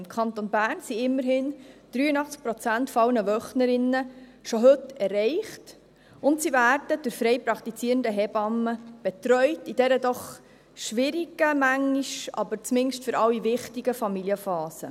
Im Kanton Bern sind immerhin 83 Prozent aller Wöchnerinnen schon heute erreicht, und sie werden durch frei praktizierende Hebammen betreut, in dieser doch manchmal schwierigen, aber zumindest für alle wichtigen Familienphase.